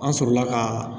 An sɔrɔla ka